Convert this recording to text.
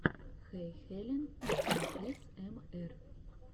хэйхелен аэсэмэр